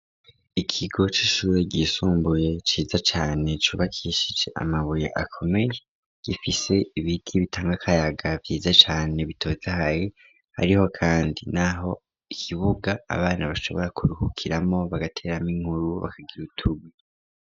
Ikigo c'ishure ryisumbuye ciza cane cubakishije amabuye akomeye gifise ibiti bitanga akayaga vyiza cane bitotahaye, ariho kandi naho ikibuga abana bashobora kuruhukiramwo bagateramwo inkuru bakagira utundi.